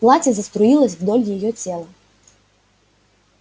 платье заструилось вдоль её тела